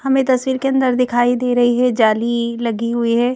हमें तस्वीर के अंदर दिखाई दे रही है जाली लगी हुई है।